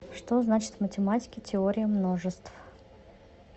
что значит в математике теория множеств